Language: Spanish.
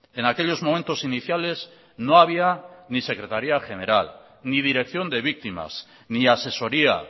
en aquellos momentos iniciales no había ni secretaría general ni dirección de víctimas ni asesoría